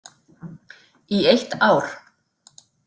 Í eitt ár.